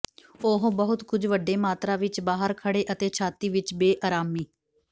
ਉਹ ਬਹੁਤ ਕੁਝ ਵੱਡੇ ਮਾਤਰਾ ਵਿਚ ਬਾਹਰ ਖੜ੍ਹੇ ਅਤੇ ਛਾਤੀ ਵਿੱਚ ਬੇਅਰਾਮੀ